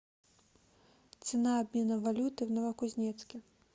цена обмена валюты в новокузнецке